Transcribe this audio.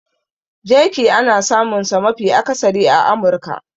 Jerky ana samunsa mafi akasari a Amurka.